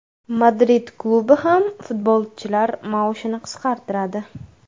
Madrid klubi ham futbolchilar maoshini qisqartiradi.